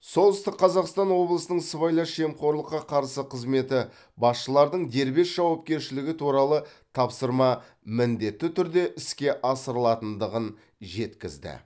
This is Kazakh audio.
солтүстік қазақстан облысының сыбайлас жемқорлыққа қарсы қызметі басшылардың дербес жауапкершілігі туралы тапсырма міндетті түрде іске асырылатындығын жеткізді